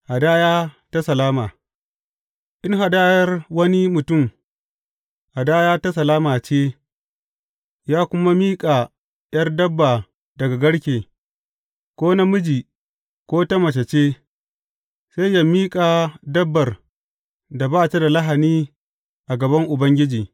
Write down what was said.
Hadaya ta salama In hadayar wani mutum, hadaya ta salama ce, ya kuma miƙa ’yar dabba daga garke, ko namiji ko ta mace ce, sai yă miƙa dabbar da ba ta da lahani a gaban Ubangiji.